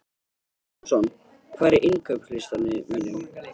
Samson, hvað er á innkaupalistanum mínum?